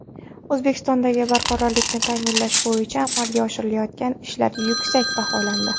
O‘zbekistondagi barqarorlikni ta’minlash bo‘yicha amalga oshirilayotgan ishlar yuksak baholandi.